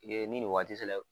nin nin waati sela.